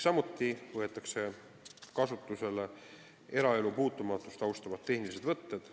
Samuti võetakse kasutusele eraelu puutumatust austavad tehnilised võtted.